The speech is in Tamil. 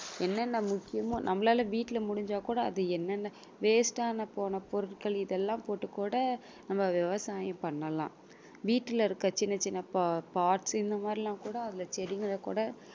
என்னென்ன முக்கியமோ நம்மளால வீட்டுல முடிஞ்சா கூட அது என்னென்ன waste ஆன போன பொருட்கள் இதெல்லாம் போட்டு கூட நம்ம விவசாயம் பண்ணலாம் வீட்டுல இருக்க சின்ன சின்ன பா~ pots இந்த மாதிரி எல்லாம் கூட அதுல செடிங்கள கூட